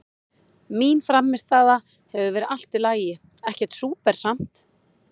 Mín frammistaða hefur verið allt í lagi, ekkert súper samt.